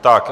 Tak.